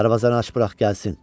Darvazanı aç burax gəlsin!